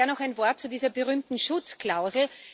Daher noch ein Wort zu dieser berühmten Schutzklausel.